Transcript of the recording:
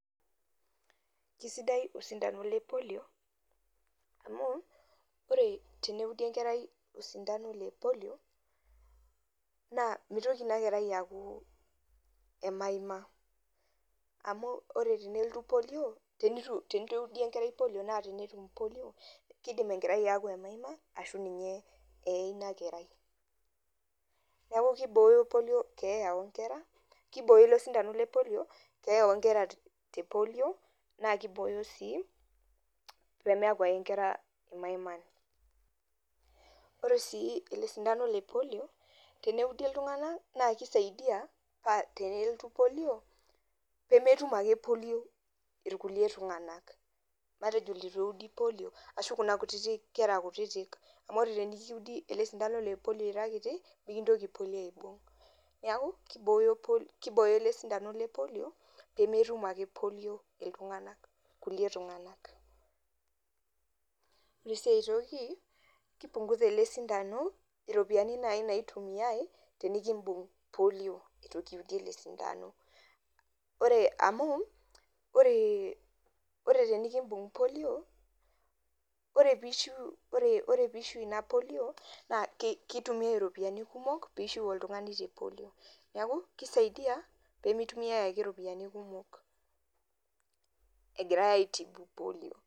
Eisidai osindano le polio amu ore teneudi enkerai osindano le polio naa meitoki inakerai aaku e maima amu ore tenelotu polio ore teneitu eeudi enkerai naa keibung polio naa keidim enkerai aaku emaima ashu ninye eeye ina kerai neeku keibooyo polio keeya oongera keibooyo osintano le polio keeya oongera te polio naa keibooyo sii peemeeku ake inkera imaiman ore aii ele sindano le polio teneudi iltung'anak naa keisaidia paa tenolotu polio nemetum ake polio irkulie tung'anak matejo ileitu eeudi polio ashuu kuna kutitik kera kutitik amu ore tenikiudi ele sindano le polio ira kiti mikintoki polio aibung niaku keibooyo ele sindano le polio peemetum ake polio iltung'anak ore sii ae toki keipunguza ele sindano iropiyiani naaji naitumiyai tenikimpung polio eitu kiudi ele sindano ore amu ore ore tenekibung polio ore peishiu ore peishiu ina polio naa keitumiyai iropiyiani kumok peishiu oltung'ani te polio neeku keisaidia pee meitumiyai ake iropiyiani kumok agirai aaitibu polio.